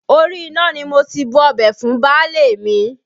Orí iná ni mo ti bu ọbẹ̀ fún baálé mi